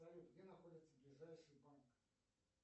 салют где находится ближайший банк